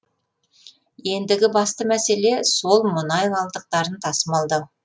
ендігі басты мәселе сол мұнай қалдықтарын тасымалдау